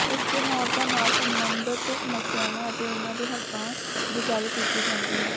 ਇਸ ਦਿਨ ਔਰਤਾਂ ਨਾਲ ਸਬੰਧਤ ਸਮਸਿਆਵਾਂ ਅਤੇ ਉਨ੍ਹਾਂ ਦੇ ਹਕਾਂ ਦੀ ਗਲ ਕੀਤੀ ਜਾਂਦੀ ਹੈ